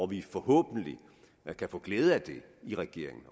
vi forhåbentlig kan få glæde af i regeringen